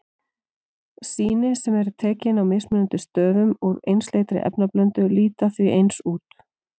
Sýni sem eru tekin á mismunandi stöðum úr einsleitri efnablöndu líta því eins út.